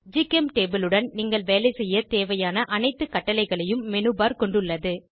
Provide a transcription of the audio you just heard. ஜிசெம்டபிள் உடன் நீங்கள் வேலைசெய்ய தேவையான அனைத்து கட்டளைகளையும் மெனுபர் கொண்டுள்ளது